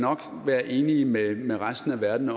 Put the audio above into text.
være enige med med resten af verden